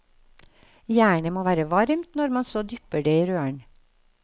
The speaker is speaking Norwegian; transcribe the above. Jernet må være varmt når man så dypper det i røren.